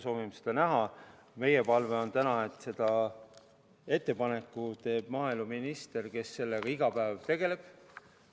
Meie palve on, et ettepaneku teeb maaeluminister, kes sellega iga päev tegeleb.